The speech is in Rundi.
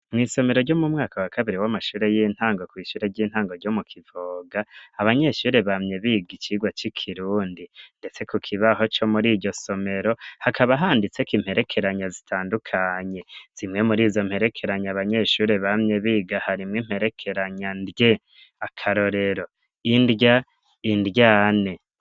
Mw'isomero ryo mu mwaka wa kabiri w'amashure y'intango kw'ishure ry'intango ryo mu Kivoga, abanyeshuri bamye biga icigwa c'ikirundi, ndetse ku kibaho co muriryo somero hakaba handitseko imperekeranya zitandukanye, zimwe murizo mperekeranya abanyeshuri bamye biga harimwo imperekeranya ndye, akarorero indya, indyane.